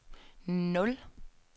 nul